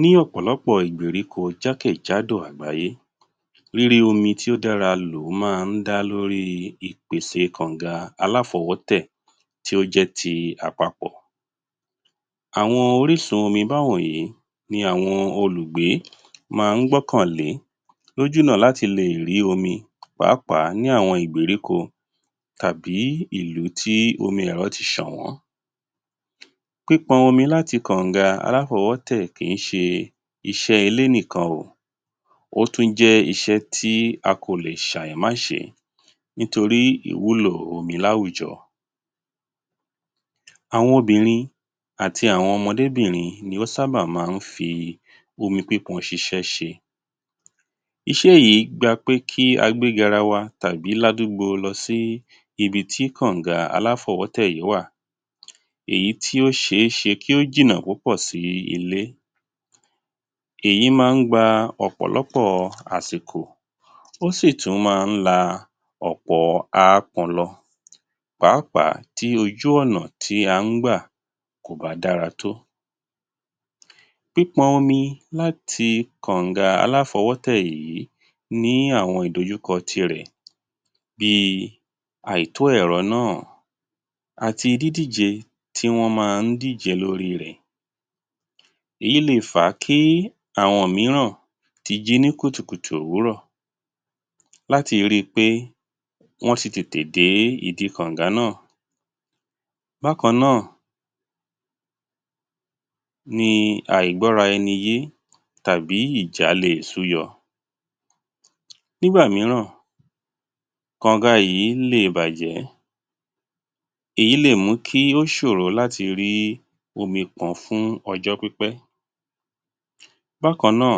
Ní ọ̀pọ̀lọ́pọ̀ ìgbèríko jákèjádò àgbáyé, rírí omi tó dára lò máa ń dá lórí ìpèsè kọ̀nga aláfọwọ́tẹ̀ tí ó jẹ́ ti àpapọ̀. Àwọn orísun omi báwọ̀nyìí ni àwọn olùgbé máa ń gbọ́kànlé lójú náà láti lè rí omi pàápàá ní àwọn ìgbèríko tàbí ìlú tí omi ẹ̀rọ ti ṣànwọ́. Pípọn omi láti kọ̀nga aláfọwọ́tẹ̀ kìí ṣe iṣẹ́ ilé nìkan o, ó tún jẹ́ iṣẹ́ tí a kò lè ṣàì máa ṣe nítorí ìwúlò omi láwùjọ. Àwọn obìnrin àti àwọn ọmọdébìnrin ní ó sábà máa ń fi omi pípọn ṣiṣẹ́ ṣe, iṣẹ́ yìí gba pé ka gbé garawa tàbí ládúgbo lọsí ibi tí kọ̀nga aláfọwọ́tẹ̀ yìí wà, èyí tí ó ṣe é ṣe kí ó jìnnà púpọ̀ sí ilé, èyí máa ń gba ọ̀pọ̀lọ́pọ̀ àsìkò, ó sì tún máa ń la ọ̀pọ̀ ápọn lọ, pàápàá tí ojú ọ̀nà tí à ń gbà kò bá dára tó. Pípọn omi láti kọ̀nga aláfọwọ́tè yìí ní àwọn ìdojúkọ ti rẹ̀ bí i àìtò ẹ̀rọ náà àti dídíje tí wọ́n máa ń díje lóri rẹ̀, èyí lè fàá kí àwọn mìíràn ti jí ní kùtùkùtù òwúrò láti ri pé wọ́n ti tètè dé ìdi kọ̀nga náà, bákàn náà ni àìgbọ́ra ẹni yé tàbí ìjà lè ṣúyọ. Nígbà mìíràn kọ̀nga yìí lè bàjẹ́, ìyí le mú kí ó ṣòro láti rí omi pọn fún ọjọ́ pípẹ́. Bákan náà,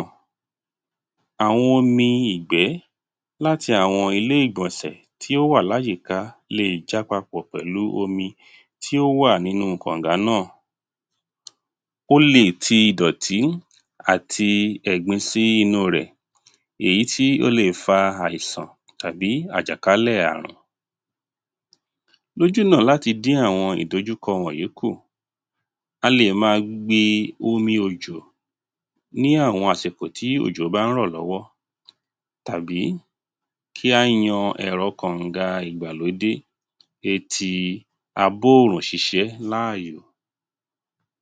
àwọn omi ìgbẹ́ láti àwọn ilé ìgbọ̀nsẹ̀ tí ó wà láyìká lè já papọ̀ pẹ̀lú omi tí ó wà nínú kọ̀nga náà, ó lè ti ìdọ̀tí àti ẹ̀gbin sínú rẹ̀, èyí tí ó lè fa àìsàn tàbí àjàkálẹ̀ àrùn. Lójú náà láti dí àwọn ìdojúkọ wọ̀nyìí kù, a lè máa gbe omi òjò ní àwọn àsìkò tí òjò bá ń rọ̀ lọ́wọ́ tàbí kí a yan ẹ̀rọ kọ̀nga ìgbàlódé bí ti abórùn ṣiṣẹ́ láàyò.